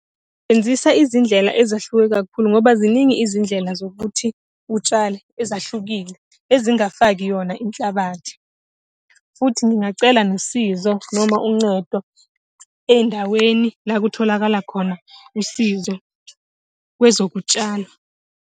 Sebenzisa izindlela ezahluke kakhulu ngoba ziningi izindlela zokuthi utshale, ezahlukile, ezingafaki yona inhlabathi. Futhi ngingacela nosizo noma uncedo ey'ndaweni, la kutholakala khona usizo kwezokutshala.